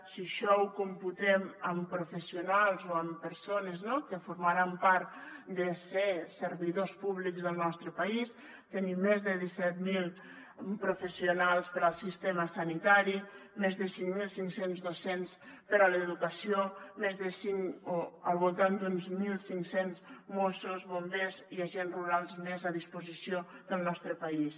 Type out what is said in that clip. si això ho computem amb professionals o amb persones que formaran part de ser servidors públics del nostre país tenim més de disset mil professionals per al sistema sanitari més de cinc mil cinc cents docents per a l’educació al voltant d’uns mil cinc cents mossos bombers i agents rurals més a disposició del nostre país